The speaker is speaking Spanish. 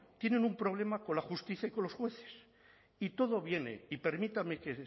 tienen un problema con la justicia y con los jueces y todo viene y permítame que